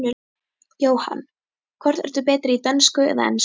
Jóhann: Hvort ert þú betri í dönsku eða ensku?